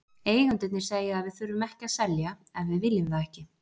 Eigendurnir segja að við þurfum ekki að selja ef við viljum það ekki.